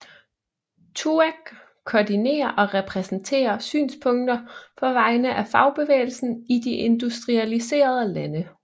TUAC koordinerer og repræsenterer synspunkter på vegne af fagbevægelsen i de industrialiserede lande